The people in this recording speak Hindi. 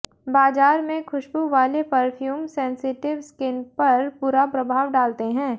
बाजार में खुशबू वाले परफ्यूम सेंसिटिव स्किन पर बुरा प्रभाव डालते हैं